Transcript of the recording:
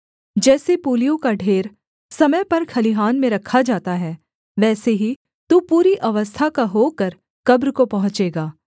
जैसे पूलियों का ढेर समय पर खलिहान में रखा जाता है वैसे ही तू पूरी अवस्था का होकर कब्र को पहुँचेगा